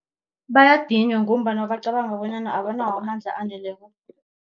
Bayadinywa ngombana bacabanga bonyana abanawo amandla aneleko.